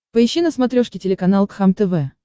поищи на смотрешке телеканал кхлм тв